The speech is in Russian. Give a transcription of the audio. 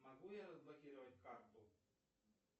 могу я разблокировать карту